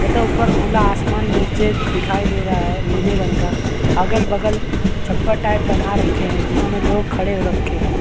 तथा ऊपर खुला आसमान नीचे दिखाई दे रहा है नीले रंग का अगल बगल छप्पर टाइप बना रखे है जिसमें लोग खड़े हो रखे है।